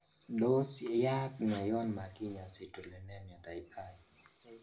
Tos yaaakne yon makinya citrullinemia type I ?